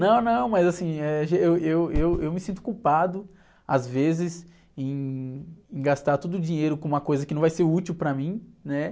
Não, não, mas assim, eh, já, eu, eu, eu me sinto culpado, às vezes, em, em gastar todo o dinheiro com uma coisa que não vai ser útil para mim, né?